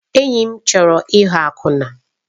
Enyi m chọrọ ịghọ akwụna.